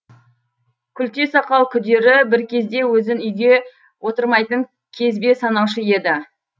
күлте сақал күдері бір кезде өзін үйге отырмайтын кезбе санаушы еді